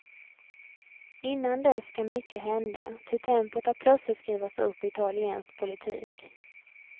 Innan dess kan mycket hända, ty tempot har plötsligt skruvats upp i italiensk politik.